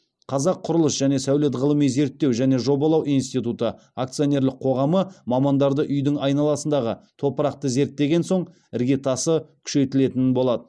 қазақ құрылыс және сәулет ғылыми зерттеу және жобалау институты акционерлік қоғамы мамандарды үйдің айналасындағы топырақты зерттеген соң іргетасы күшейтілетін болады